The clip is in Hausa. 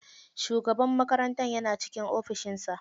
Shugaban makarantar yana cikin ofishin sa.